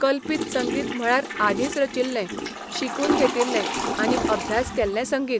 कल्पीत संगीत म्हळ्यार आदींच रचिल्लें, शिकून घेतिल्लें आनी अभ्यास केल्लें संगीत.